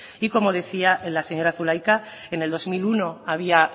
y como decía la señora zulaika en el dos mil uno había